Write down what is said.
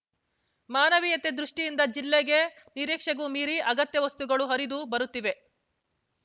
ಮಾನವೀಯತೆ ದೃಷ್ಟಿಯಿಂದ ಜಿಲ್ಲೆಗೆ ನಿರೀಕ್ಷೆಗೂ ಮೀರಿ ಅಗತ್ಯ ವಸ್ತುಗಳು ಹರಿದು ಬರುತ್ತಿವೆ